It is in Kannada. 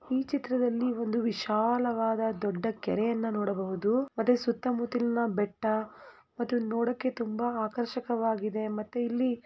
ಈ ಚಿತ್ರದಲ್ಲಿ ಒಂದು ವಿಶಾಲವಾದ ದೊಡ್ಡ ಕೆರೆಯನ್ನು ನೋಡಬಹುದು ಮತ್ತು ಸುತ್ತ ಮುತ್ತಲ ಬೆಟ್ಟ ಮತ್ತೆ ನೋಡಕ್ಕೆ ತುಂಬಾ ಆಕರ್ಷಿತವಾಗಿದೆ ಮತ್ತು ಇಲ್ಲಿ--